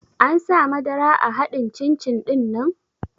An sa madara a haɗin cin-cin ɗinnan?